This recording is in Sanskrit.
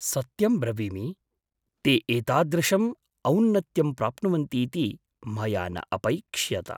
सत्यं ब्रवीमि, ते एतादृशम् औन्नत्यं प्राप्नुवन्तीति मया न अपैक्ष्यत।